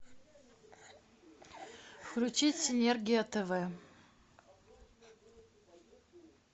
включить синергия тв